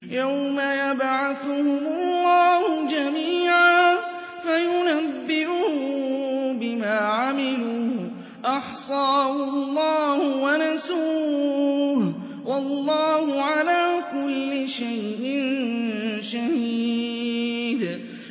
يَوْمَ يَبْعَثُهُمُ اللَّهُ جَمِيعًا فَيُنَبِّئُهُم بِمَا عَمِلُوا ۚ أَحْصَاهُ اللَّهُ وَنَسُوهُ ۚ وَاللَّهُ عَلَىٰ كُلِّ شَيْءٍ شَهِيدٌ